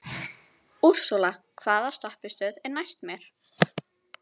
Úrsúla, hvaða stoppistöð er næst mér?